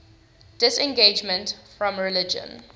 disengagement from religion